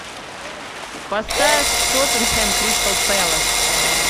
поставь тоттенхэм кристал пэлас